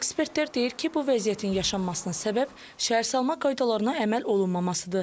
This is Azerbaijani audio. Ekspertlər deyir ki, bu vəziyyətin yaşanmasına səbəb şəhərsalma qaydalarına əməl olunmamasıdır.